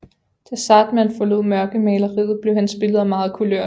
Da Zahrtmann forlod mørkemaleriet blev hans billeder meget kulørte